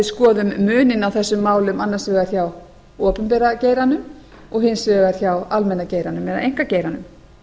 skoðum muninn á þessum málum annars vegar hér á opinbera geiranum og hins vegar hjá almenna geiranum eða einkageiranum